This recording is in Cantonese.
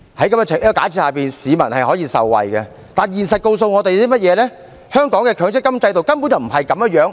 在這假設下，市民可以受惠，但現實告訴我們，香港的強積金制度根本不是這樣。